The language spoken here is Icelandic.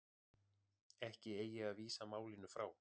Ekki eigi að vísa málinu frá